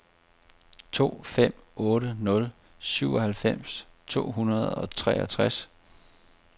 to fem otte nul syvoghalvfems to hundrede og treogtres